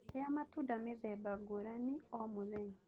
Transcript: Rĩa matunda mĩtemba ngũrani o mũthenya